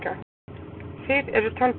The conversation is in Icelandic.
Þið eruð tálbeitan.